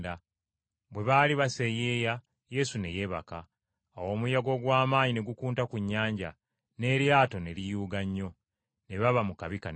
Bwe baali baseeyeeya Yesu ne yeebaka. Awo omuyaga ogw’amaanyi ne gukunta ku nnyanja, n’eryato ne liyuuga nnyo, ne baba mu kabi kanene.